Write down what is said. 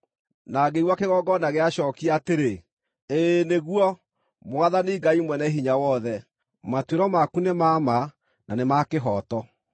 Na ngĩigua kĩgongona gĩacookia atĩrĩ: “Ĩĩ nĩguo, Mwathani Ngai Mwene-Hinya-Wothe, matuĩro maku nĩ ma ma, na nĩ ma kĩhooto.”